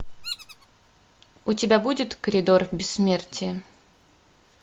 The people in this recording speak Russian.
у тебя будет коридор бессмертия